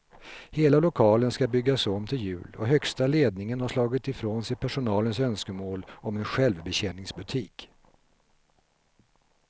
Hela lokalen ska byggas om till jul och högsta ledningen har slagit ifrån sig personalens önskemål om en självbetjäningsbutik.